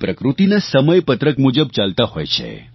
પ્રકૃતિના સમયપત્રક મુજબ ચાલતા હોય છે